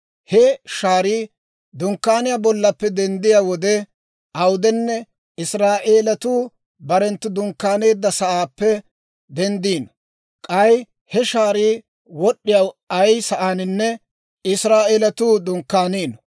He shaarii Dunkkaaniyaa bollaappe denddiyaa wode awudenne Israa'eelatuu barenttu dunkkaaneedda sa'aappe denddiino; k'ay he shaarii wod'd'iyaa ay sa'aaninne Israa'eelatuu dunkkaaniino.